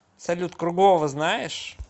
салют круглова знаешь